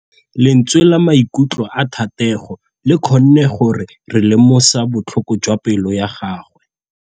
Lentswe la maikutlo a Thategô le kgonne gore re lemosa botlhoko jwa pelô ya gagwe.